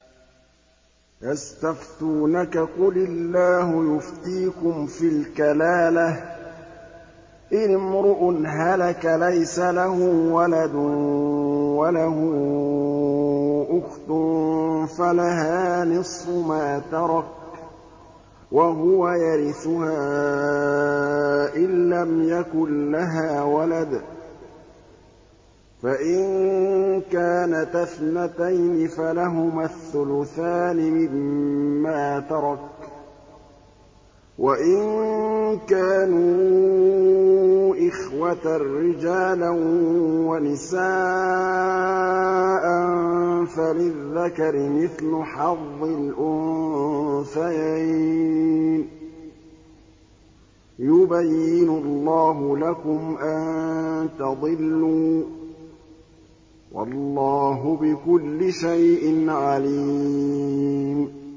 يَسْتَفْتُونَكَ قُلِ اللَّهُ يُفْتِيكُمْ فِي الْكَلَالَةِ ۚ إِنِ امْرُؤٌ هَلَكَ لَيْسَ لَهُ وَلَدٌ وَلَهُ أُخْتٌ فَلَهَا نِصْفُ مَا تَرَكَ ۚ وَهُوَ يَرِثُهَا إِن لَّمْ يَكُن لَّهَا وَلَدٌ ۚ فَإِن كَانَتَا اثْنَتَيْنِ فَلَهُمَا الثُّلُثَانِ مِمَّا تَرَكَ ۚ وَإِن كَانُوا إِخْوَةً رِّجَالًا وَنِسَاءً فَلِلذَّكَرِ مِثْلُ حَظِّ الْأُنثَيَيْنِ ۗ يُبَيِّنُ اللَّهُ لَكُمْ أَن تَضِلُّوا ۗ وَاللَّهُ بِكُلِّ شَيْءٍ عَلِيمٌ